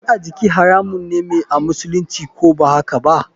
Zane a jiki haramun me amusulunci, ko bahakaba?